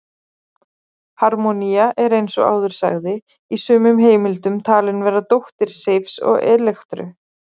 Harmonía er, eins og áður sagði, í sumum heimildum talin vera dóttir Seifs og Elektru.